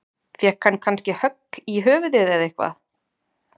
Fékk hann kannski högg í höfuðið eða eitthvað?